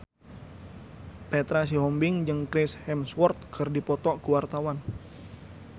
Petra Sihombing jeung Chris Hemsworth keur dipoto ku wartawan